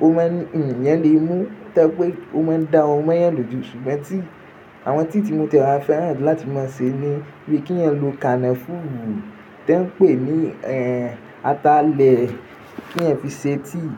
ọ man, ẹ̀eyan lè mú to jẹ́ pé ó máa ń dá ọrun mọ ẹ̀eyan lójú. Ṣùgbọ́n tíì, àwọn tíì tí mo ti e wá fẹ́ràn láti máa ṣe ní bíi kí ẹ̀eyan lo kànáfùù tẹ ń pè ní, ẹ́, atalẹ̀ kí ẹ̀eyan fi ṣe tíì.